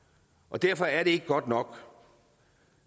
derfor er det ikke godt nok